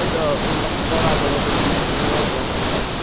это он там в два раза развалил единоросса